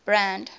brand